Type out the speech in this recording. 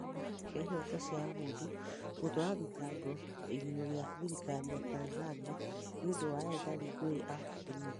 Kĩama gĩa Ihoto cia ũmũndũ: gũtwara thitango igũrũ rĩa thirikari ya Tanzania nĩũndũ wa ethari ngũĩ a Burundi.